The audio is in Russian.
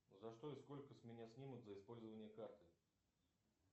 за что и сколько с меня снимут за использование карты